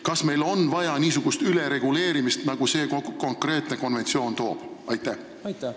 Kas meil on vaja niisugust ülereguleerimist, mida see konkreetne seadus kaasa toob?